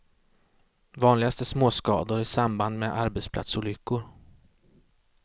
Vanligast är småskador i samband med arbetsplatsolyckor.